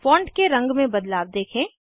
font के रंग में बदलाव देखें